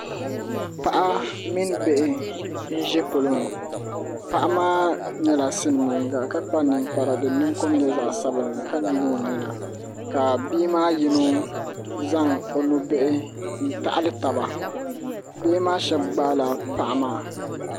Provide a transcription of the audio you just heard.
Paɣa mini bihi n ʒi polo ni paɣa maa nyɛla silmiinga ka kpa ninkpara din ninkom nyɛ zaɣ sabinli ka nyili o nyina ka bia maa yino zaŋ o nubihi n taɣali taba bihi maa shab gbaala paɣa maa